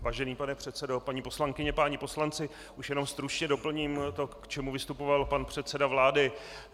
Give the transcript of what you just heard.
Vážený pane předsedo, paní poslankyně, páni poslanci, už jenom stručně doplním to, k čemu vystupoval pan předseda vlády.